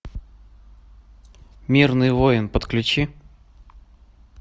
мирный воин подключи